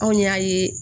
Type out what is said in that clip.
Anw y'a ye